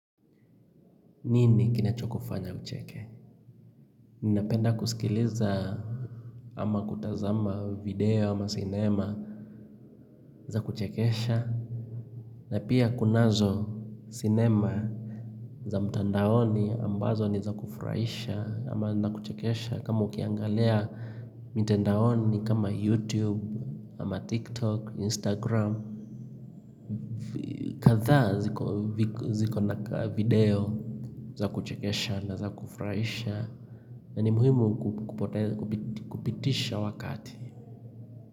Nini kinacho kufanya ucheke? Ninapenda kusikiliza ama kutazama video ama cinema za kuchekesha na pia kunazo cinema za mtandaoni ambazo ni za kufurahisha ama na kuchekesha kama ukiangalia mitandaoni kama youtube ama tiktok, instagram kadha zikona video za kuchekesha na za kufurahisha na ni muhimu kupitisha wakati.